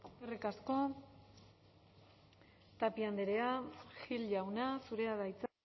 eskerrik asko tapia andrea gil jauna zurea da hitza